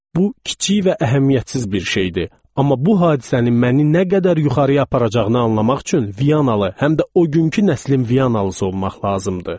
Bu kiçik və əhəmiyyətsiz bir şeydir, amma bu hadisənin məni nə qədər yuxarıya aparacağını anlamaq üçün Viyanalı, həm də o günkü nəslin Viyanalısı olmaq lazımdır.